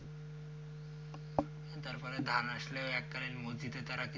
তারপরে ধান আসলে এককালীন মসজিদে ওরা,